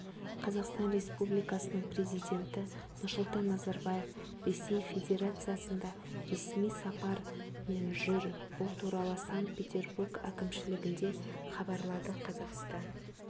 қазақстан республикасының президенті нұрсұлтан назарбаев ресей федерациясында ресми сапармен жүр бұл туралы санкт-петербург әкімшілігінде хабарлады қазақстан